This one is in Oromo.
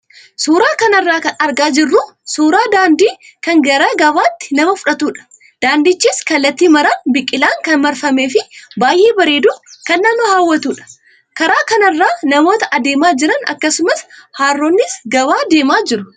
Suuraa kanarraa kan argaa jirru suuraa daandii kan gara gabaatti nama fudhatudha. Daandichis kallattii maraan biqilaan kan marfamee fi baay'ee bareedu kan nama hawwatudha. Karaa kanarra namoota adeemaa jiran akkasumas harroonnis gabaa deemaa jiru.